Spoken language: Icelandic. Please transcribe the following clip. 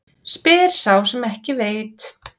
Spyr sá sem ekki veit.